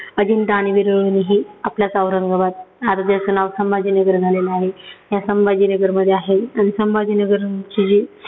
अजिंठा आणि वेरुळ लेण्यीही आपल्याच औरंगाबाद आता ज्याचं नाव संभाजीनगर झालेलं आहे, या संभाजीनगरमध्ये आहे. आणि संभाजीनगरची जी